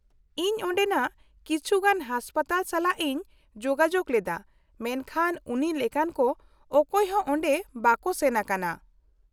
-ᱤᱧ ᱚᱸᱰᱮᱱᱟᱜ ᱠᱤᱪᱷᱩ ᱜᱟᱱ ᱦᱟᱥᱯᱟᱛᱟᱞ ᱥᱟᱞᱟᱜ ᱤᱧ ᱡᱳᱜᱟᱡᱳᱜ ᱞᱮᱫᱟ ᱢᱮᱱᱠᱷᱟᱱ ᱩᱱᱤ ᱞᱮᱠᱟᱱ ᱠᱚ ᱚᱠᱚᱭ ᱦᱚᱸ ᱚᱸᱰᱮ ᱵᱟᱠᱚ ᱥᱮᱱ ᱟᱠᱟᱱᱟ ᱾